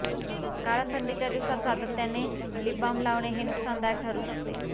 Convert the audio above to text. कारण थंडीच्या दिवसात सातत्याने लिप बाम लावणे हे नुकसानदायक ठरु शकते